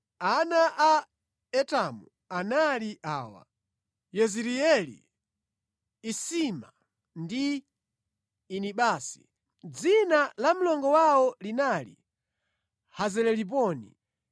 Ana a Etamu anali awa: Yezireeli, Isima ndi Idibasi. Dzina la mlongo wawo linali Hazeleliponi.